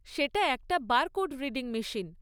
সেটা একটা barcode reading machine.